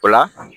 O la